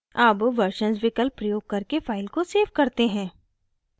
अब versions विकल्प प्रयोग करके file को सेव करते हैं